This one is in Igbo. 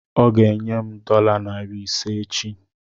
Ọ ga enye m dọla narị ise echi